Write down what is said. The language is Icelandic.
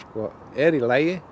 er í lagi